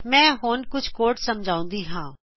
ਮੈ ਹੁਣ ਕੋਡ ਸਮਝਾਉਂਦੀ ਹਾਂ